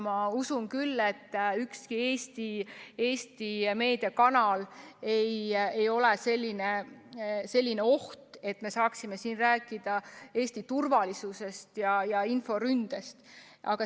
Ma usun küll, et ükski Eesti meediakanal ei ole selline oht, et me saaksime selle puhul rääkida Eesti turvalisusest ja inforündest.